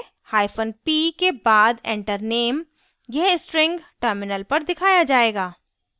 hyphen p के बाद enter name: यह string terminal पर दिखाया जायेगा